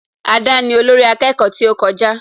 Ada ni olórí akẹ́kọ̀ọ́ tí ó kọjá